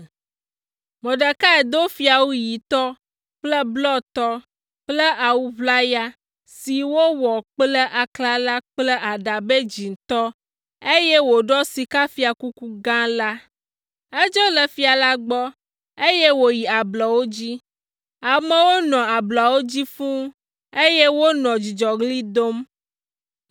Mordekai do fiawu ɣitɔ kple blɔtɔ kple awu ʋlaya si wowɔ kple aklala kple aɖabɛ dzĩtɔ, eye wòɖɔ sikafiakuku gã la. Edzo le fia la gbɔ, eye wòyi ablɔwo dzi. Amewo nɔ ablɔawo dzi fũu, eye wonɔ dzidzɔɣli dom.